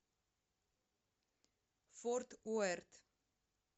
форт уэрт